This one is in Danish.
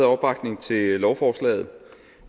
opbakning til lovforslaget